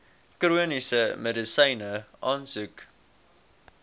chroniese medisyne aansoek